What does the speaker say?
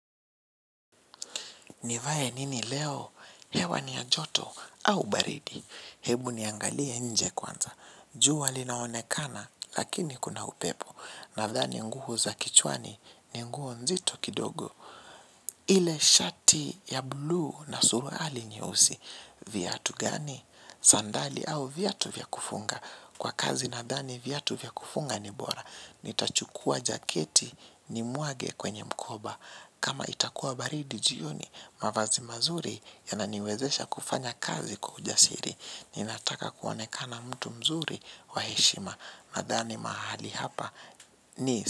Nivae nini leo? Hewa ni ya joto au baridi. Hebu niangalie nje kwanza. Jua linaonekana lakini kuna upepo. Nadhani nguo za kichwani ni nguo nzito kidogo. Ile shati ya bluu na suruali nyeusi. Viatu gani? Sandali au viatu vya kufunga. Kwa kazi nadhani viatu vya kufunga ni bora. Nitachukua jaketi nimwage kwenye mkoba. Kama itakuwa baridi jioni mavazi mazuri yananiwezesha kufanya kazi kwa ujasiri. Ninataka kuonekana mtu mzuri wa heshima. Nadhani mahali hapa ni.